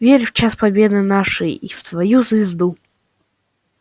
верю в час победы нашей и в твою звезду